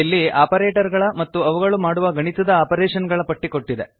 ಇಲ್ಲಿ ಆಪರೇಟರ್ ಗಳ ಮತ್ತು ಅವುಗಳು ಮಾಡುವ ಗಣಿತದ ಆಪರೇಷನ್ ಗಳ ಪಟ್ಟಿ ಕೊಟ್ಟಿದೆ